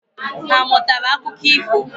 Ha amụtara akụkọ ifo?